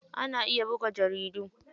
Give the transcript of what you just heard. Ana iya buga jaridu.